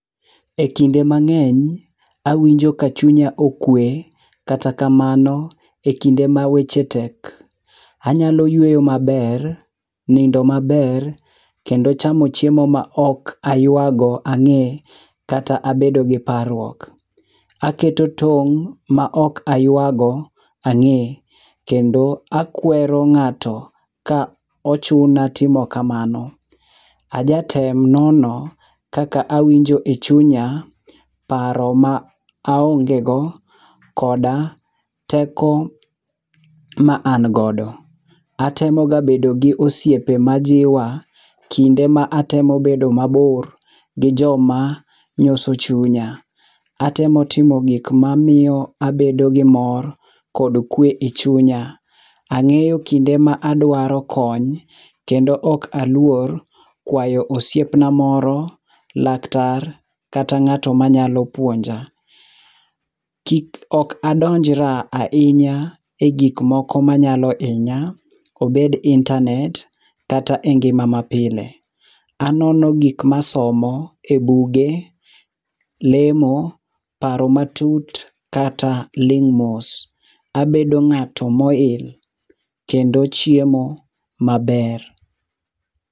Ekinde mang'eny, awinjo ka chunya okwe, kata kamano e kinde ma weche tek, anyalo yueyo maber, nindo maber, kendo chamo chiemo maok ayuago ang'e kata abedo gi parruok. aketo tong' ma ok ayuago ang'e, kendo akwero ng'ato ka ochuna timo kamano. Ajatem nono kaka awinjo e chunya, paro ma aongego koda teko ma angodo. Atemoga bedo gi osiepe majiwa, kinde ma atemo bedo mabor gi joma nyoso chunya. Atemo timo gik mamiyo abedo gi mor kod kwe e chunya. Ang'eyo kinde madwaro kony kendo ok alwor kwayo osiepna moro, laktar, kata ng'ato manyalo puonja. Kik ok andonjra ahinya e gikmoko manyalo inya, obed intanet kata e ngima mapile. Anono gik masomo e buge, lemo, paro matut kata ling' mos. Abedo ng'ato moil, kendo chiemo maber.